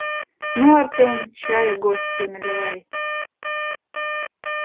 ну артём чаю гостю наливай